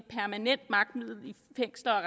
fængsler